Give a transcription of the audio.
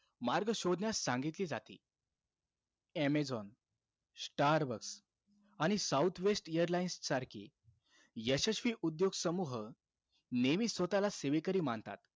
मार्ग शोधण्यास सांगितले जाते. अमेझॉन, स्टारबक्स आणि साऊथ वेस्ट एअरलाईन्स सारखी यशस्वी उद्योग समूह नेहमीचं स्वतःला सेवेकरी मानतात.